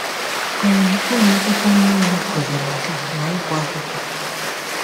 um Ụlọ akwụkwọ Nnewi kuziri nka ma ịgụ akwụkwọ.